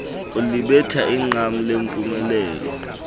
ulibetha iqam lempumelelo